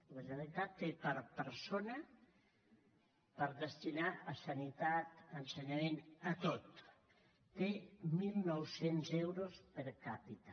la generalitat té per destinar a sanitat ensenyament a tot mil nou cents euros per capita